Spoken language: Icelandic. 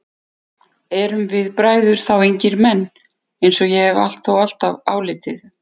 Erum við bræður þá engir menn, eins og ég hef þó alltaf álitið?